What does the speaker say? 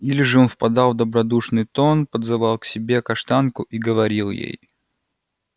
или же он впадал в добродушный тон подзывал к себе каштанку и говорил ей